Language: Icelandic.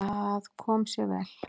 Það kom sér mjög vel.